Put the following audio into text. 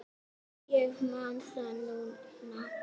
Já, ég man það núna.